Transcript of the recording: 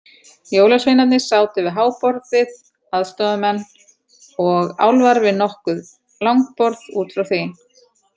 Jólasveinarnir sátu við háborðið, aðstoðarmenn og álfar við nokkur langborð út frá því.